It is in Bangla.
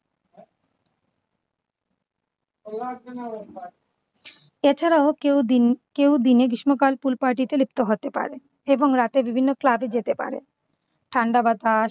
এছাড়াও কেউ দিন কেউ দিনে গ্রীষ্মকাল pool party লিপ্ত হতে পারে এবং রাতে বিভিন্ন club এ যেতে পারে। ঠান্ডা বাতাস